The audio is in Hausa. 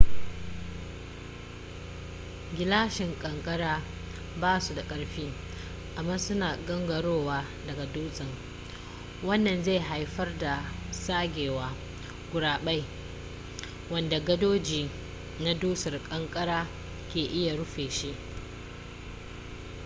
gilashin kankara ba su da ƙarfi amma suna gangarowa daga dutsen wannan zai haifar da tsagewa gurabe wanda gadoji na dusar ƙanƙara ke iya rufe shi